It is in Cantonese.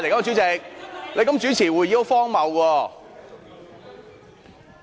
主席，你這樣主持會議很荒謬。